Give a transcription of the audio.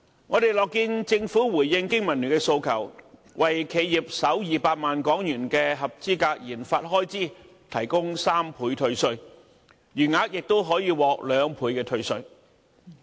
我們樂見政府回應經民聯的訴求，為企業首200萬港元的合資格研發開支提供3倍退稅，餘額亦可獲兩倍退稅。